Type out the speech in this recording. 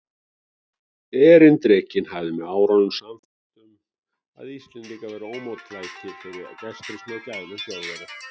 Erindrekinn hafði með árunum sannfærst um, að Íslendingar væru ómóttækilegir fyrir gestrisni og gælum Þjóðverja.